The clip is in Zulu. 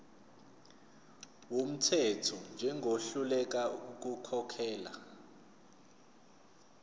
wumthetho njengohluleka ukukhokhela